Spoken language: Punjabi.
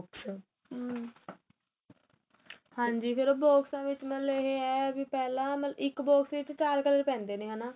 ਹਾਂਜੀ ਫ਼ੇਰ ਬੋਕ੍ਸਾ ਵਿੱਚ ਮਤਲਬ ਇਹ ਏ ਪਹਿਲਾਂ ਇੱਕ box ਵਿੱਚ ਚਾਰ colour ਪੈਂਦੇ ਏ ਹੈਨਾ